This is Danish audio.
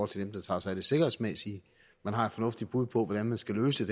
til dem der tager sig af det sikkerhedsmæssige man har et fornuftigt bud på hvordan man skal løse